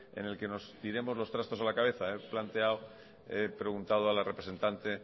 en el que nos tiremos los trastos a la cabeza he preguntado a la representante